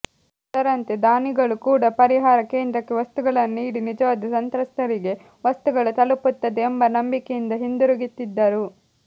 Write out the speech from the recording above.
ಅದರಂತೆ ದಾನಿಗಳು ಕೂಡ ಪರಿಹಾರ ಕೇಂದ್ರಕ್ಕೆ ವಸ್ತುಗಳನ್ನು ನೀಡಿ ನಿಜವಾದ ಸಂತ್ರಸ್ತರಿಗೆ ವಸ್ತುಗಳು ತಲುಪುತ್ತದೆ ಎಂಬ ನಂಬಿಕೆಯಿಂದ ಹಿಂದಿರುಗುತ್ತಿದ್ದರು